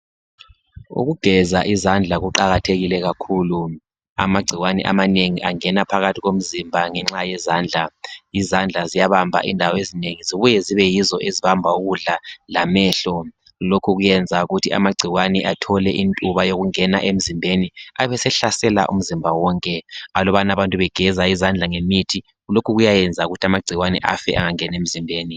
Ukugeza izandla kuqakathekile kakhulu. Amagcikwane amanengi angena phakathi komzimba ngenxa yezandla. Izandla ziyabamba indawo ezinengi zibuye zibe yizo ezibamba ukudla lamehlo. Lokhu kuyenza ukuthi amagcikwane athole intuba yokungena emzimbeni abesehlasela umzimba wonke. Alabana abantu begeza izandla ngemithi lokhu kuyayenza ukuthi amagcikwane afe engangeni emzimbeni.